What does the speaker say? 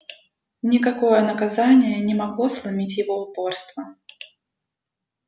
никакое наказание не могло сломить его упорство